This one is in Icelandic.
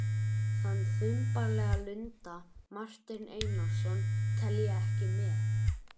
Hann var mikill áhugamaður um stjórnmál og þingmaður eitt kjörtímabil.